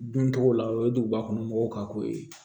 Duncogo la o ye duguba kɔnɔ mɔgɔw ka ko ye